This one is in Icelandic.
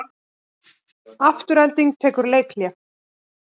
Afturelding tekur leikhlé